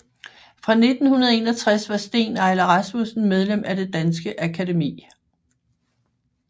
Fra 1961 var Steen Eiler Rasmussen medlem af Det Danske Akademi